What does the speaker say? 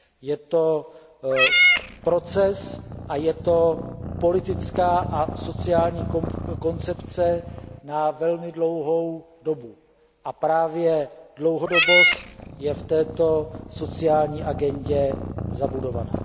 Je to proces a je to politická a sociální koncepce na velmi dlouhou dobu a právě dlouhodobost je v této sociální agendě zabudovaná.